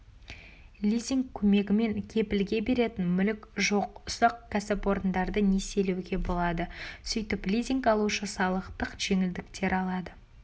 лизинг көмегімен кепілге беретін мүлік жоқ ұсақ кәсіпорындарды несиелеуге болады сөйтіп лизинг алушы салықтық жеңілдіктер алады